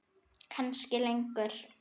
Kannski lengur.